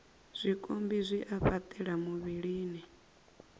zwikambi zwi a fhaṱela muvhilini